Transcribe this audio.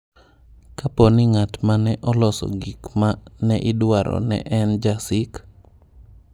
Kapo ni ng’at ma ne oloso gik ma ne idwaro ne en Ja-Sikh?